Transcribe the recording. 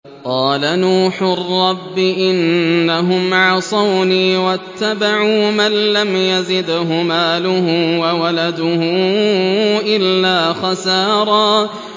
قَالَ نُوحٌ رَّبِّ إِنَّهُمْ عَصَوْنِي وَاتَّبَعُوا مَن لَّمْ يَزِدْهُ مَالُهُ وَوَلَدُهُ إِلَّا خَسَارًا